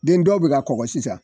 Den dɔw be ka kɔgɔ sisan